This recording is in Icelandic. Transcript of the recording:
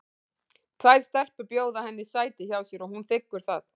Tvær stelpur bjóða henni sæti hjá sér og hún þiggur það.